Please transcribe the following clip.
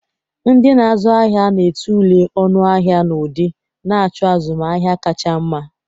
Ndị na-azụ ahịa na-a tulee ọnụ ahịa na ụdị, na-achọ azụmahịa kacha mma.